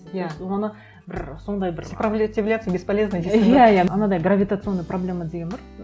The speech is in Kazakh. иә оны бір сондай бір сопротивляться бесполезно дейсің ғой иә иә анадай гравитационная проблема деген бар